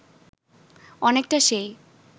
অনেকটা সেই